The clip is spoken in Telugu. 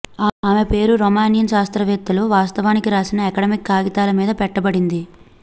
ఆమె పేరు రోమేనియన్ శాస్త్రవేత్తలు వాస్తవానికి వ్రాసిన అకాడమిక్ కాగితాల మీద పెట్టబడింది